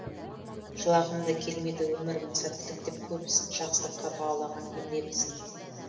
жылағым да келмейді өмірімнің сәттілік деп көп ізін жақсылыққа бағалаған ем лебізін